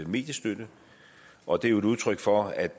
mediestøtte og det er jo et udtryk for at